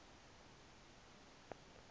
apha utshutshi swa